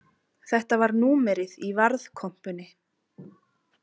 Þetta var númerið í varðkompunni.